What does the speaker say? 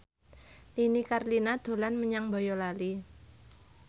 Nini Carlina dolan menyang Boyolali